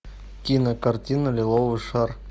кинокартина лиловый шар